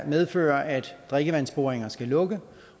medfører at drikkevandsboringer skal lukke